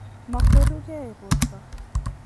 Mokwerugei borto?